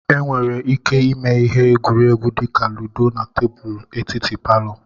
E nwere ike ime ihe egwuregwu dị ka ludo na tebulu etiti palọ.